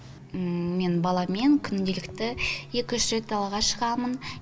мен баламен күнделікті екі үш рет далаға шығамын